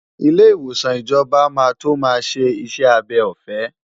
Ilé ìwòsàn ìjọba máa tó máa ṣe iṣẹ́ abẹ ọ̀fẹ́.